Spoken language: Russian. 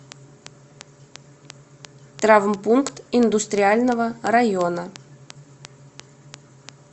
травмпункт индустриального района